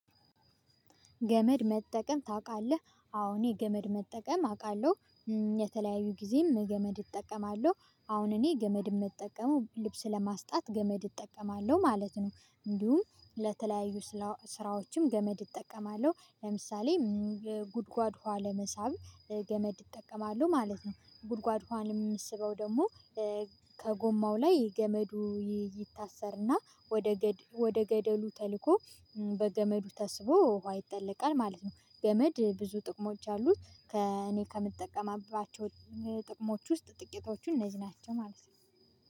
ገመድ መጠቀም ታውቃለህ አዎ እኔ የገመድ መጠቀም አውቃለሁ። የተለያዩ ጊዜም ገመድ እጠቀማለሁ አሁን እኔ ገመድ የምጠቀመው ልብስ ለማስጣት ገመድ እጠቀማለሁ ማለት ነው። እንዲሁም ለተለያዩ ስራዎችም ገመድ እጠቀማለሁ ለምሳሌ ጉድጓድ ኋለ መሳብ ገመድ ይጠቀማሉ ማለት ነው። ጉድጓድ ሆአን የምስበው ደግሞ ከጎማው ላይ ገመዱ ይታሰርና ወደ ወደ ገደሉ ተልኮ በገመዱ ተስቦ ውሃ ይጠለቃል ማለት ነው። ገመድ ብዙ ጥቅሞች አሉት። ከእኔ ከምጠቀምባቸው ጥቅሞች ውስጥ ጥቂቶቹን እነዚህ ናቸው ማለት ነው።